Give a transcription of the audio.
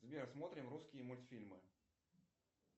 сбер смотрим русские мультфильмы